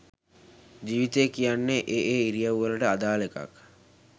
ජීවිතය කියන්නෙ ඒ ඒ ඉරියව්වවලට අදාළ එකක්